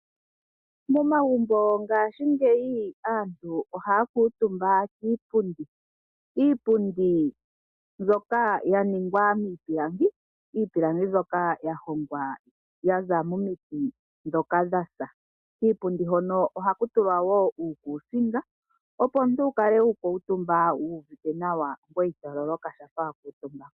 Momagumbo ngaashingeyi aantu ohaya kuutumba kiipundi. Iipundi mbyoka ya ningwa miipilangi, iipilangi mbyoka ya hongwa yaza momiti dhoka dhasa. Kiipundi hono ohaku tulwa wo uukusinga, opo omuntu wu kale wa kuutumba wu uvite nawa ngoye ito loloka shampa wa kuutumba.